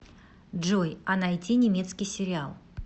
джой а найти немецкий сериал